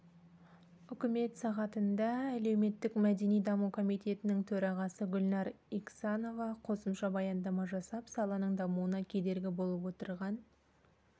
үкімет сағатында әлеуметтік-мәдени даму комитетінің төрағасы гүлнәр иксанова қосымша баяндама жасап саланың дамуына кедергі болып отырған